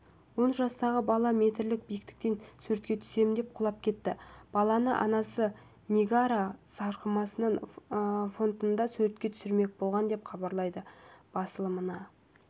он жастағы бала метрлік биіктіктен суретке түсем деп құлап кетті баланы анасы ниагара сарқырамасының фонында суретке түсірмек болған деп хабарлайды басылымына